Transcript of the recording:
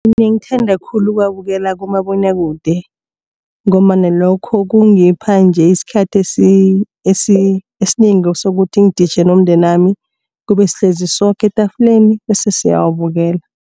Mina ngithanda khulu ukuwabukela kumabonwakude. Ngombana lokho kungipha nje isikhathi esinengi sokuthi ngiditjhe nomndenami kube sihlezi soke etafuleni bese siyawabukela.